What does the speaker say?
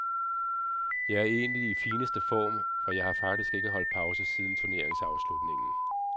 Jeg er egentlig i fineste form, for jeg har faktisk ikke holdt pause siden turneringsafslutningen.